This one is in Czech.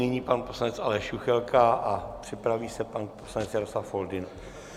Nyní pan poslanec Aleš Juchelka a připraví se pan poslanec Jaroslav Foldyna.